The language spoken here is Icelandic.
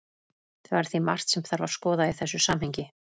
Það er því margt sem þarf að skoða í þessu samhengi.